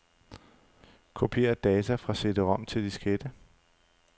Kopier data fra cd-rom til diskette.